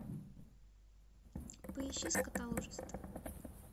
поищи скотоложество